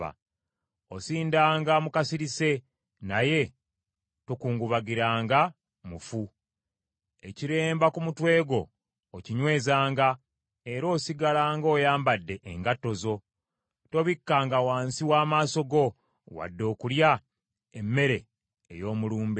Osindanga mu kasirise naye tokungubagiranga mufu. Ekiremba ku mutwe gwo okinywezanga, era osigalanga oyambadde engatto zo; tobikkanga wansi w’amaaso go wadde okulya emmere ey’omulumbe.”